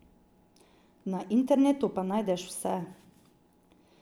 Na internetu pa najdeš vse.